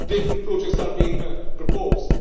Different projects are being proposed.